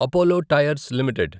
Apollo tyres limited